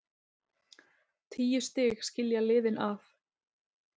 Tíu stig skilja liðin að.